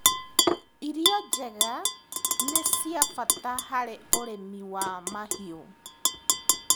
Irio njega nĩciabata harĩ ũrĩmi wa mahiũ.